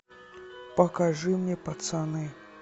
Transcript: покажи мне пацаны